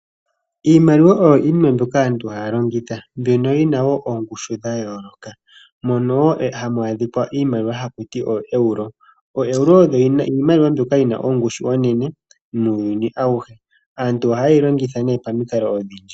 Iimaliwa oyo iinima mbyoka aantu haya longitha. Oyi na oongushu dha yooloka. Mono hamu adhika iimaliwa haku ti ooEuro. OoEuro odho iimaliwa mbyoka yi na ongushu oyindji muuyuni auhe. Aantu ohaye yi longitha nduno pamikalo odhindji.